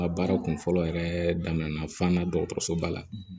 Nka baara kun fɔlɔ yɛrɛ daminɛna fo n na dɔgɔtɔrɔso ba la